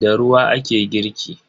Da ruwa ake girki.